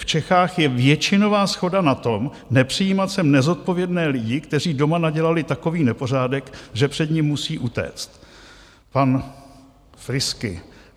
V Čechách je většinová shoda na tom, nepřijímat sem nezodpovědné lidi, kteří doma nadělali takový nepořádek, že před ním musí utéct" - pan Friski.